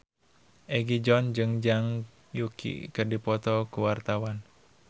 Egi John jeung Zhang Yuqi keur dipoto ku wartawan